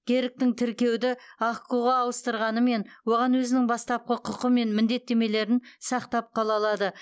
керк тің тіркеуді ахқо ға ауыстырғанымен оған өзінің бастапқы құқы мен міндеттемелерін сақтап қала алады